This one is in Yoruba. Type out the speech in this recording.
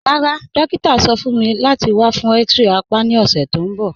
Rárá, dòkítà sọ̀ fún mí láti wà fún x-ray àpá ni ọṣẹ̀ tó nbọ̀